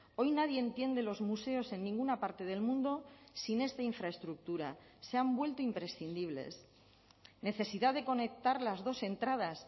hoy nadie entiende los museos en ninguna parte del mundo sin esta infraestructura se han vuelto imprescindibles necesidad de conectar las dos entradas